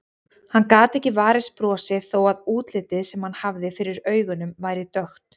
Hann gat ekki varist brosi þó að útlitið sem hann hafði fyrir augunum væri dökkt.